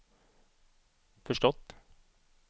förstått